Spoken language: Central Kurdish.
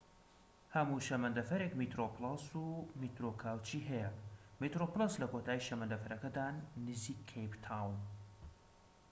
هەموو شەمەندەفەرێك میترۆ پلەس و میترۆ کاوچی هەیە میترۆ پلەس لە کۆتایی شەمەندەفەرەکەدان نزیك کەیپ تاون